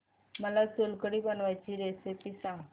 मला सोलकढी बनवायची रेसिपी सांग